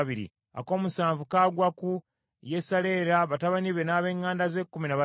ak’omusanvu kagwa ku Yesalera, batabani be, n’ab’eŋŋanda ze, kkumi na babiri;